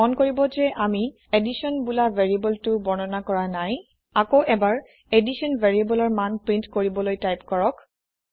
মন কৰিব যে আমি additionবোলা ভেৰিয়েবোলটি বৰ্ণনা কৰা নাই আকৌ এবাৰ এডিশ্যন ভেৰিয়েবোলৰ মান প্ৰীন্ট কৰিবলৈ টাইপ কৰক